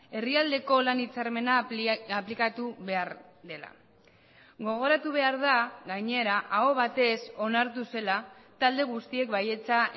herrialdeko lan hitzarmena aplikatu behar dela gogoratu behar da gainera aho batez onartu zela talde guztiek baietza